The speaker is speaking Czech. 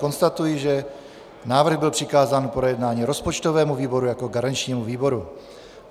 Konstatuji, že návrh byl přikázán k projednání rozpočtovému výboru jako garančnímu výboru.